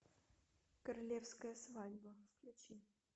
королевская свадьба включи